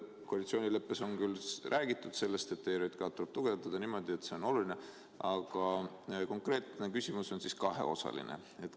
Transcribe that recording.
Koalitsioonileppes on küll räägitud sellest, et ERJK-d tuleb tugevdada niimoodi, et see oleks oluline organ.